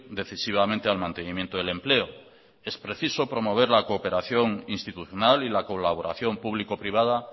decisivamente al mantenimiento del empleo es preciso promover la cooperación institucional y la colaboración público privada